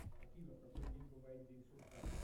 афина в какой день бывает день сурка